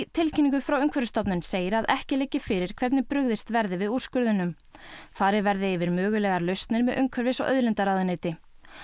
tilkynningu frá Umhverfisstofnun segir að ekki liggi fyrir hvernig brugðist verði við úrskurðunum farið verði yfir mögulegar lausnir með umhverfis og auðlindaráðuneyti